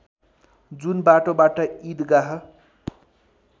जुन बाटोबाट इदगाह